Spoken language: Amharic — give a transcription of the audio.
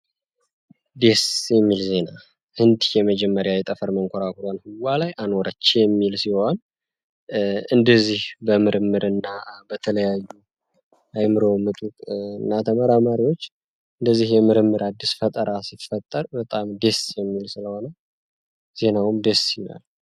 ደስ የሚል ዜና ህንድ የመጀመሪያ መንኮራኩሯን ህዋ ላይ አኖሮች የሚል ሲሆን እንደዚህ በምርምር እና የተለያዩ አይምሮ ምጡቅ እና ተመራማሪዎች እንደዚህ የምርምር አዲስ ፈጠራ ሲፈጠር በጣም ዴ ደስ የሚል ስለሆነ ዜናውም ደስ ይላል።